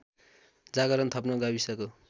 जागरण थप्न गाविसको